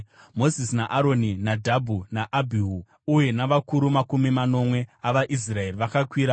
Mozisi naAroni, Nadhabhi naAbhihu uye navakuru makumi manomwe vavaIsraeri vakakwira